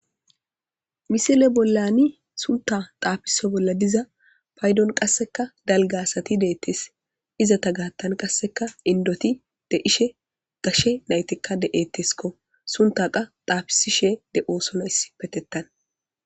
misile bollani sunta xaafiso bolla diza paydon qasseka dalga asati deettes .izato gaattan qasseka indoti de'ishe gashshe naytikka de7ettiskko. sunta qaa xaafisishshe de'osona issipetettan.